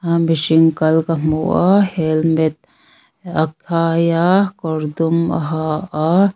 a mihring kal ka hmu a helmet a khai a kawr dum a ha a.